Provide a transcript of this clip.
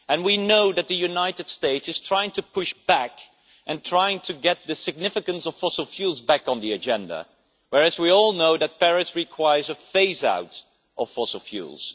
We know that the United States is trying to push back and trying to get the significance of fossil fuels back on the agenda, whereas we all know that Paris requires a phase out of fossil fuels.